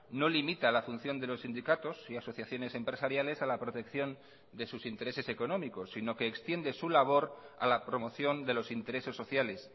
no limita la función de los sindicatos y asociaciones empresariales a la protección de sus intereses económicos sino que extiende su labor a la promoción de los intereses sociales